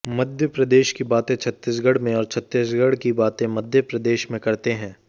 मध्य प्रदेश की बातें छत्तीसगढ़ में और छत्तीसगढ़ की बातें मध्य प्रदेश में करते हैं